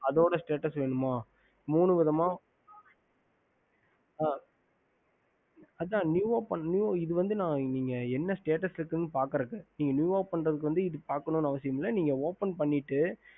ஹம்